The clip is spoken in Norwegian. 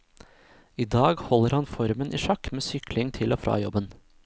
I dag holder han formen i sjakk med sykling til og fra jobben.